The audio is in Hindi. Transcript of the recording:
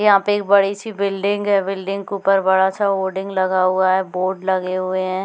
यहाँ पे एक बड़ी सी बिल्डिंग है बिल्डिंग के ऊपर बड़ा सा होर्डिंग लगा हुआ है बोर्ड लगे हुए है।